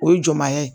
O ye jɔnmaya ye